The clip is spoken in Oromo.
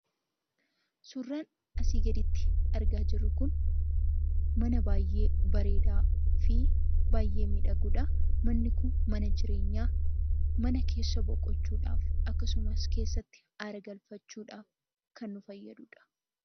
Suurraan asii gaditti argaa jirru kun, mana baayyee bareedaafi baayyee miidhagudha. Manni kun mana jireenyaa, mana keessa boqochuudhaaf akkasumas keessatti haaragalfachuudhaaf kan nu fayyadudha.